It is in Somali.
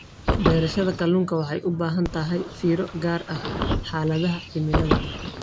Beerashada kalluunka waxay u baahan tahay fiiro gaar ah xaaladaha cimilada.